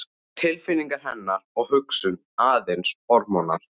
Tilfinningar hennar og hugsun aðeins hormónar?